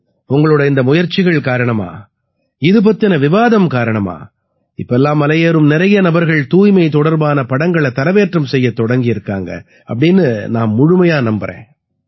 உங்களோட இந்த முயற்சிகள் காரணமா இது பத்தின விவாதம் காரணமா இப்ப எல்லாம் மலையேறும் நிறைய நபர்கள் தூய்மை தொடர்பான படங்களை தரவேற்றம் செய்யத் தொடங்கியிருக்காங்க அப்படீன்னு நான் முழுமையா நம்பறேன்